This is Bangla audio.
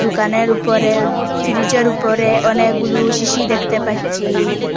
দুকানের উপরে ফ্রিজের উপরে অনেকগুলু শিশি দেখতে পাচ্ছি।